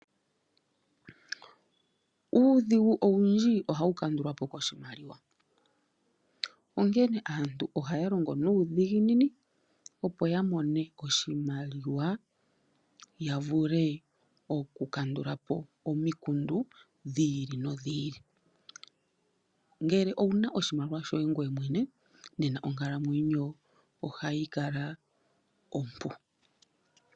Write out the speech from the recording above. Uudhigu owundji ohawu kandulwa po koshimaliwa, onkene aantu ohaya longo nuudhiginini opo ya mone oshimaliwa ya vule oku kandulapo omikundu dhi ili nodhi ili. Ngele ouna oshimaliwa shoye ngoye mwene nena onkalamwenyo ohayi kala ompu.